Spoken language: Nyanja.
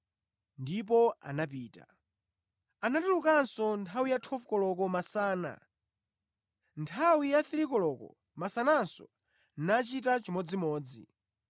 Ndipo anapita. “Anatulukanso nthawi ya 12 koloko masana, ndi nthawi ya 3 koloko masananso nachita chimodzimodzi.